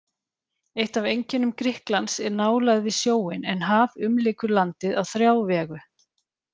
Eitt af einkennum Grikklands er nálægð við sjóinn, en haf umlykur landið á þrjá vegu.